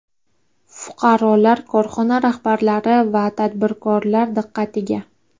Fuqarolar, korxona rahbarlari va tadbirkorlar diqqatiga!